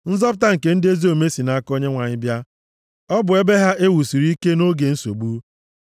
Nzọpụta nke ndị ezi omume si nʼaka Onyenwe anyị bịa; ọ bụ ebe ha e wusiri ike nʼoge nsogbu. + 37:39 \+xt Abụ 9:9; Nhu 1:7\+xt*